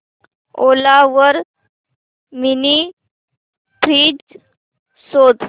ओला वर mini fridge शोध